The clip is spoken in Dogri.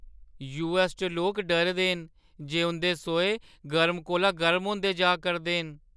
यूऐस्स च लोक डरे दे न जे उंʼदे सोहे गर्म कोला गर्म होंदे जा करदे न।